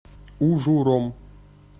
ужуром